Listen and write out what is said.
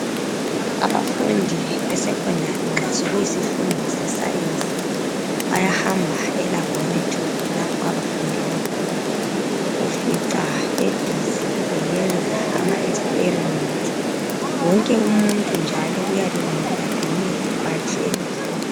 Abafundi be secondary nxa sekuyisifundo se science bayahamba elaboratory lapho abafundela khona, ufica be busy beyenza ama experiment. Wonke umuntu njalo kuyabe kumele aqoke ibhatshi elimhlophe.